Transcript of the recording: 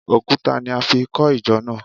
Òkúta ni a fi kọ ìjọ náà